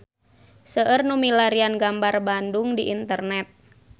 Seueur nu milarian gambar Bandung di internet